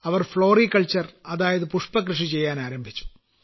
അവർ പുഷ്പകൃഷി ചെയ്യാനാരംഭിച്ചു